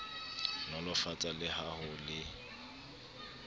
nolofatsa le ha ho le